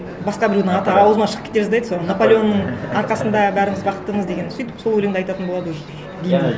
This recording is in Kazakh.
басқа біреудің аты ауызымнан шығып кете жаздайды сол наполеонның арқасында бәріміз бақыттымыз деген сөйтіп сол өлеңді айтатын болады уже гимн